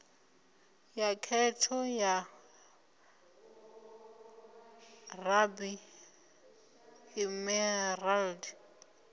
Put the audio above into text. ya khetho ya ruby emerald